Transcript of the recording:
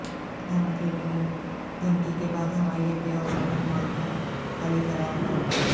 دھماکے کی دھمکی کے بعد ہوائی اڈے اور شاپنگ مال کو خالی کرایا گیا